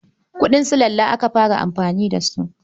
Kuɗin sulalla aka fara amfani da su.